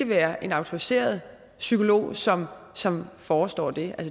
være en autoriseret psykolog som som forestår det